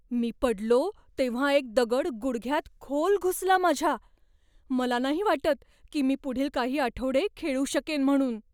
मी पडलो तेव्हा एक दगड गुडघ्यात खोल घुसला माझ्या. मला नाही वाटत की मी पुढील काही आठवडे खेळू शकेन म्हणून.